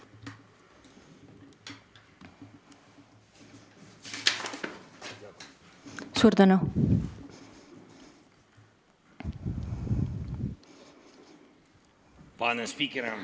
Suur tänu!